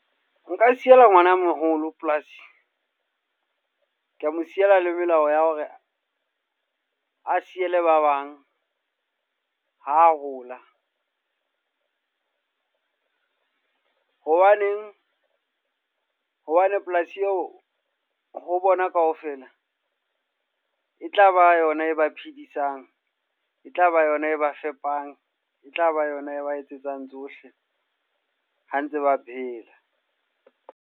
Nka siela ngwana a moholo polasi. Ka mo siela le melao ya hore a siele ba bang ha hola. Hobaneng, hobane polasi eo ho bona kaofela e tla ba yona e ba phedisang. E tla ba yona e ba fepang, e tlaba yona e ba etsetsang tsohle ha ntse ba phela.